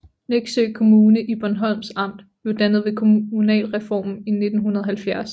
Neksø Kommune i Bornholms Amt blev dannet ved kommunalreformen i 1970